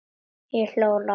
Ég hló lágt.